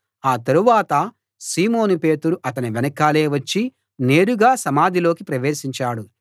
ఆ తరువాత సీమోను పేతురు అతని వెనకాలే వచ్చి నేరుగా సమాధిలోకి ప్రవేశించాడు